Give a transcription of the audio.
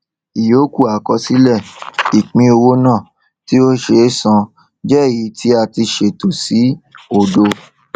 ìyókù àkọsílẹ ìpínowó náà tí ó ṣe é san jẹ èyí tí a ṣètò sí òdo